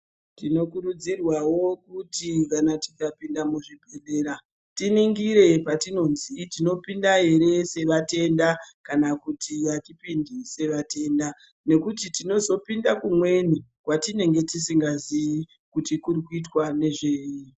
Tinokurudzirwawo kuti kana tikapinda muzvibhehlera tiningire patinodzi tinopinda ere sevatenda kana kuti atipindi sevatenda ngekuti tinozopinda kumweni kwatinenge tisingazivi kuti kurikuitwa nezvei.